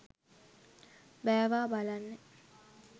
බෑවා බලන්න